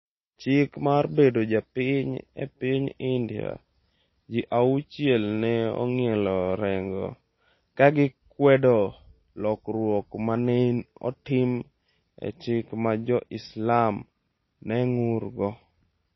Chik mar Bedo Japiny e piny India: Ji auchiel ne ong'ielo rengo ka gikwedo lokruok ma ne otim e chik ma Jo-Islam ne ng’urgo